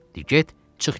Dedi: "Get, çıx get.